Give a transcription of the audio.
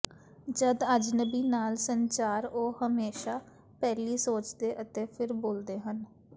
ਜਦ ਅਜਨਬੀ ਨਾਲ ਸੰਚਾਰ ਉਹ ਹਮੇਸ਼ਾ ਪਹਿਲੀ ਸੋਚਦੇ ਅਤੇ ਫਿਰ ਬੋਲਦੇ ਹਨ